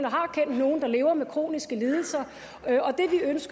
har kendt nogen der lever med kroniske lidelser